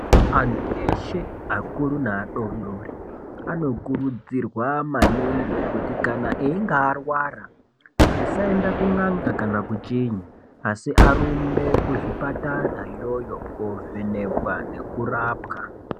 Antu eshe akuru neadodori anokurudzirwa maningi kuti kana einge arwara asaenda kun'anga kana kuchinyi asi arumbe kuzvipatara iyoyo kovhenekwa nekurapwa.